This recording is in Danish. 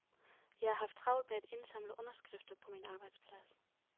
Jeg har haft travlt med at indsamle underskrifter på min arbejdsplads.